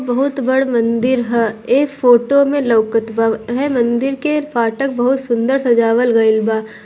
बहुत बड़ मंदिर है ए फोटो में लौकत बा एहे मंदिर के फाटक बहुत सुंदर सजावल गेल बा।